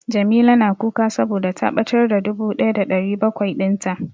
Jamila na kuka saboda ta ɓatar da dubu ɗaya da ɗari bakwai din ta.